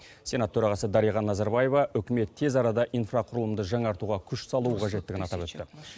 сенат төрағасы дариға назарбаева үкімет тез арада инфрақұрылымды жаңартуға күш салуы қажеттігін атап өтті